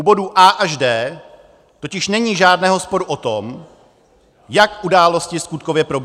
U bodů A až D totiž není žádného sporu o tom, jak události skutkově proběhly.